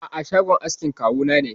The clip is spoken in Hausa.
A'a, shagon askin kawu na ne.